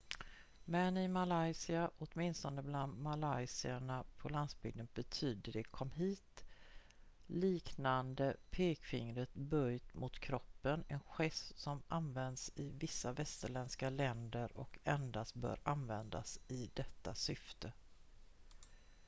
"men i malaysia åtminstone bland malaysierna på landsbygden betyder det "kom hit" liknande pekfingret böjt mot kroppen en gest som används i vissa västerländska länder och endast bör användas i detta syfte.